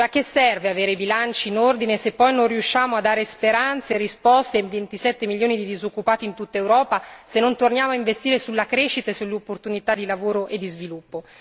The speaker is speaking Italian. A che serve avere i bilanci in ordine se poi non riusciamo a dare speranze e risposte ai 27 milioni di disoccupati in tutt'Europa, se non torniamo a investire sulla crescita e sull'opportunità di lavoro e di sviluppo?